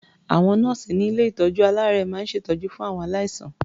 Àwọn nọ́ọ̀sì ní ilé-ìtọ́jú-aláàárẹ̀ máa ń ṣètọ́jú fún àwọn aláìsàn.